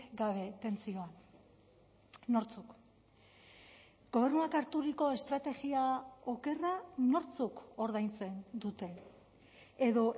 gabe tentsioan nortzuk gobernuak harturiko estrategia okerra nortzuk ordaintzen dute edo